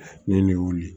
Ni bɛ wuli